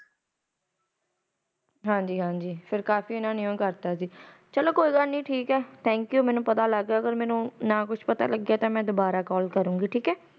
ਹਾਜੀ ਹਾਜੀ ਫਿਰ ਉਨਾ ਕਾਫੀ ਕਰ ਦਿੱਤਾ ਸੀ ਮੈਨੂੰ ਪਤਾ ਲਗ ਗਿਆ ਜੇ ਮੈਨੂੰ ਕੁਝ ਪਤਾ ਨਾ ਲੱਗੀਆ ਮੈ ਦੁਬਾਰਾ ਕਾਲ ਕਰਾਗੀ